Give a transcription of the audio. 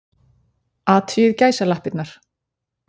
Athugið gæsalappirnar.